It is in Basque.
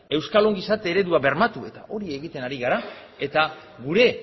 euskal ongizate eredua bermatu eta hori egiten ari gara eta gure